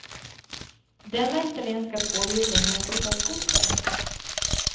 Denna italienska tvåhjuling är en typ av skoter.